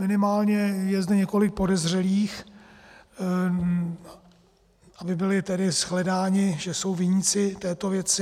Minimálně je zde několik podezřelých, aby byli tedy shledáni, že jsou viníci této věci.